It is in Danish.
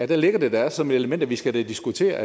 det ligger da som et element at vi skal diskutere